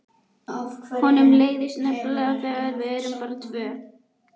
Honum leiðist nefnilega þegar við erum bara tvö:.